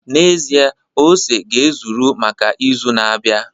N'ezie, ose ga-ezuru maka izu na-abịa